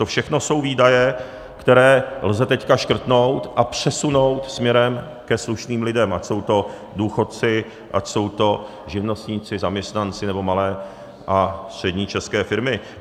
To všechno jsou výdaje, které lze teď škrtnout a přesunout směrem ke slušným lidem, ať jsou to důchodci, ať jsou to živnostníci, zaměstnanci, nebo malé a střední české firmy.